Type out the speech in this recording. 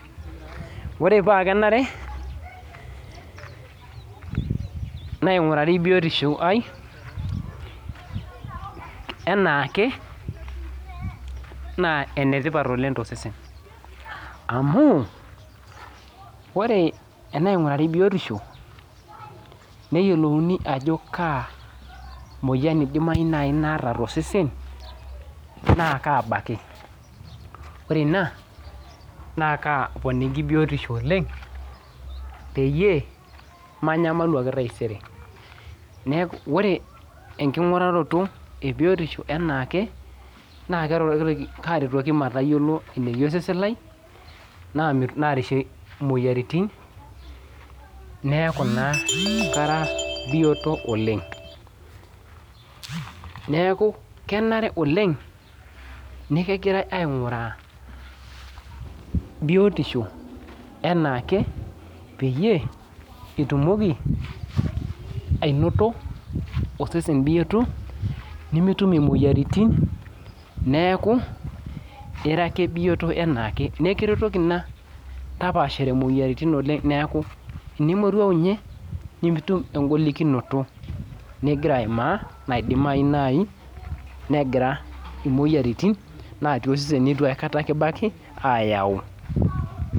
Ore oaa kenare naingurari biotisho aai anaake na enetipat oleng tosesen amu ore tanaingurari biotisho neyiolouni ajo kaamoyian ebaki naata tosesen na kabaki ore ina na kaponiki biotisho oleng peyie manyamalu ake taisere ore nkingurata ebiotisho enake na karetoki matayiolo eneyia osesen lai narishie moyiaritin neaku kara bioto oleng neaku kenare oleng nikingirai ainguraa biotisho anaake peitumokibainoto osesen bioto nimitum moyiaritin neaku ira ake bioto anaake na ekiretoki ina tapaashare moyiaritin neaku tenimimoruau inye nimitum engolikino nigira aimaa moyiaritin natii osesen nitu aikata kibaki ayau.